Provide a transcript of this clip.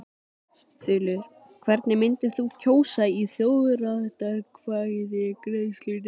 Þulur: Hvernig myndir þú kjósa í þjóðaratkvæðagreiðslunni?